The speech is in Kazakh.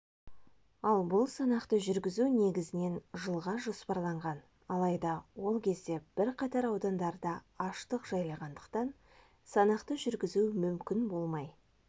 ал бұл санақты жүргізу негізінен жылға жоспарланған алайда ол кезде бірқатар аудандарында аштық жайлағандықтан санақты жүргізу мүмкін болмай